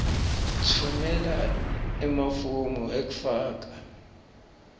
tfumela emafomu ekufaka